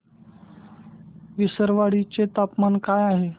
विसरवाडी चे तापमान काय आहे